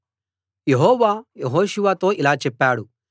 యెహోవా యెహోషువతో ఇలా చెప్పాడు